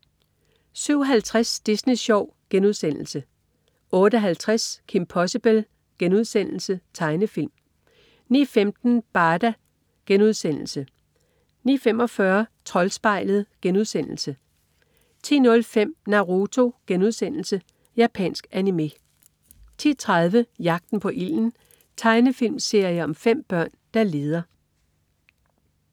07.50 Disney Sjov* 08.50 Kim Possible.* Tegnefilm 09.15 Barda* 09.45 Troldspejlet* 10.05 Naruto.* Japansk anime 10.30 Jagten på ilden. Tegnefilmserie om 5 børn, der leder